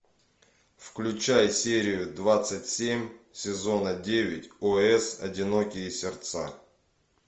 включай серию двадцать семь сезона девять о с одинокие сердца